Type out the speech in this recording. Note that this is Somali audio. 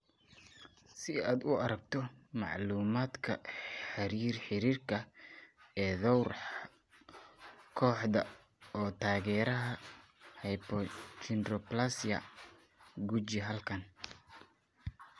Si aad u aragto macluumaadka xiriirka ee dhowr kooxood oo taageera hypochondroplasia, guji halkan.